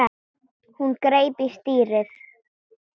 Hún greip í stýrið.